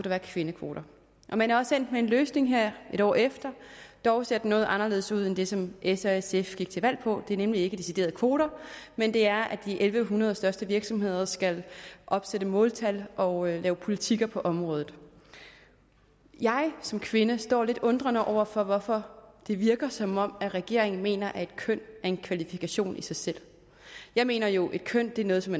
være kvindekvoter man er også endt med en løsning her et år efter dog ser det noget anderledes ud end det som s og sf gik til valg på det er nemlig ikke deciderede kvoter men det er at de en tusind en hundrede største virksomheder skal opsætte måltal og lave politikker på området jeg som kvinde står lidt undrende over for hvorfor det virker som om regeringen mener at et køn er en kvalifikation i sig selv jeg mener jo at et køn er noget som